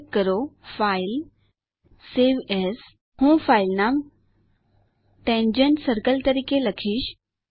click કરો file જીટીજીટી save as હું ફાઈલ નામ tangent સર્કલ તરીકે લખીશ